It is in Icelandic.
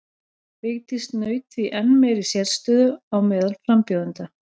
Vigdís naut því enn meiri sérstöðu á meðal frambjóðenda.